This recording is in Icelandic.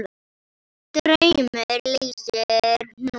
Draugur leysir hnút